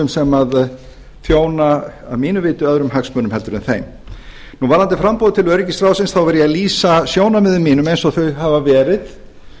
sem þjóna að mínu viti öðrum hagsmunum heldur en þeim varðandi framboð til öryggisráðsins þá var ég að lýsa sjónarmiðum mínum eins og þau hafa verið